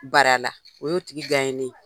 Bar'a la. O y'o tigi nen ye.